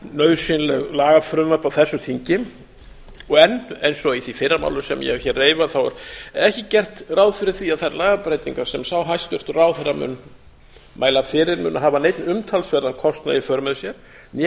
nauðsynleg lagafrumvörp á þessu þingi og enn eins og í því fyrra máli sem ég hef hér reifað er ekki gert ráð fyrir því að þær lagabreytingar sem sá hæstvirtur ráðherra mun mæla fyrir muni hafa neinn umtalsverðan kostnað í för með sér né